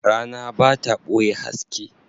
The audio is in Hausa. Rana ba ta ɓoye haske.